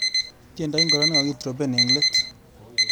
Tyendo ingoro nekakitrompen eng let.